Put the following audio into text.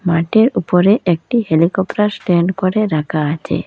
মাটের উপরে একটি helicopter stand করে রাকা আছে।